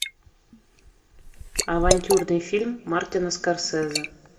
авантюрный фильм мартина скорсезе